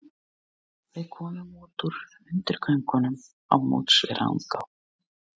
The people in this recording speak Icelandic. Við komum út úr undirgöngunum á móts við Rangá.